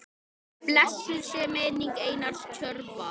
Blessuð sé minning Einars Tjörva.